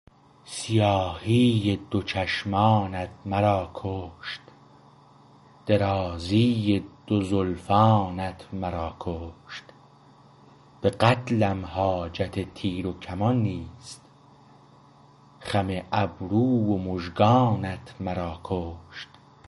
سیاهی دو چشمانت مرا کشت درازی دو زلفانت مرا کشت به قتلم حاجت تیر و کمان نیست خم ابرو و مژگانت مرا کشت